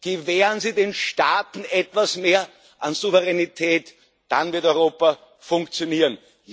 Gewähren Sie den Staaten etwas mehr an Souveränität, dann wird Europa funktionieren.